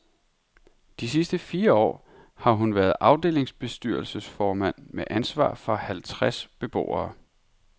De sidste fire år har hun været afdelingsbestyrelsesformand med ansvar for halvtreds beboere.